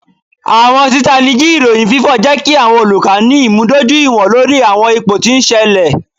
Awọn titaniji iroyin fifọ jẹ ki awọn oluka ni imudojuiwọn lori awọn ipo ti n ṣẹlẹ.